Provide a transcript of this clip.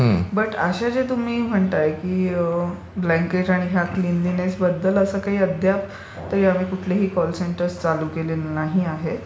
पण असे जे तुम्ही म्हणताय की ब्लंकेट आणि ह्या क्लीनलीनेस बद्दल काही अद्याप आम्ही कुठलीही कॉल सेंटर्स चालू केलेली नाही आहेत.